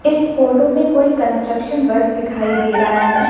इस फोटो में कोई कंस्ट्रक्शन वर्क दिखाई दे रहा है।